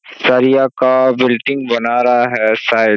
सरिया का बिल्डिंग बना रहा है शायद।